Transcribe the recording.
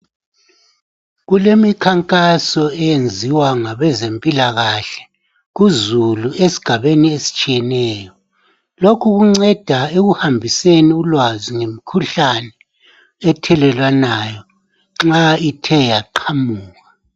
Kulemikhankaso eyenziwa ngabezempilakahle kuzulu esigabeni esitshiyeneyo. Lokhu kunceda ekuhambiseni ulwazi ngemikhuhlane ethelelwanayo nxa ithe yaqamuka.